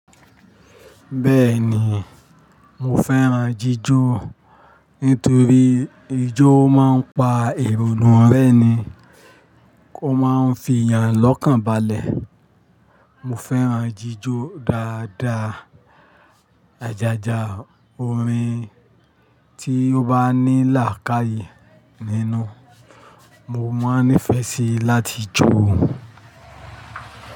Bẹ́ẹ̀ ni, mo fẹ́ràn jíjó nítorí ijó máa ń pa èrò nù rẹ́ni, ó máa ń fi èèyàn lọ́kànbalẹ̀. Mo fẹ́ràn jíjó dáadáa, ajaja orin tí ó bá ní làákàyè nínú, mo máa nífẹ̀ẹ́ síi láti jó.